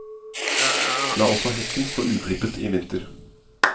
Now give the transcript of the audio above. La også hekken stå uklippet i vinter.